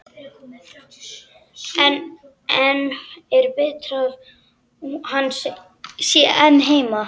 En er betra að hann sé einn heima?